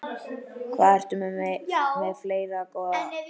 Hvað ertu með fleira, góða?